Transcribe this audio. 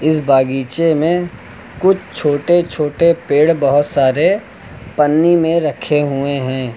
इस बागीचे में कुछ छोटे छोटे पेड़ बहोत सारे पन्नी में रखे हुए हैं।